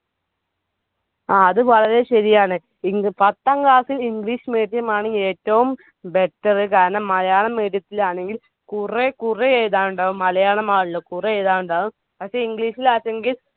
ആ അത് വളരെ ശരിയാണ്. പത്താം class ൽ english medium ആണ് ഏറ്റവും better. malayalam medium തിലാണെങ്കിൽ കുറെ കുറെ എഴുതാനുണ്ടാവും. പക്ഷെ english ലാണെങ്കിൽ